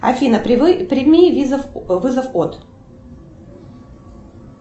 афина прими вызов от